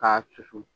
K'a susu